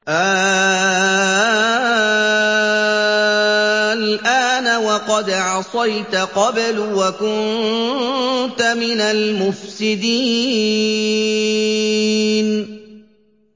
آلْآنَ وَقَدْ عَصَيْتَ قَبْلُ وَكُنتَ مِنَ الْمُفْسِدِينَ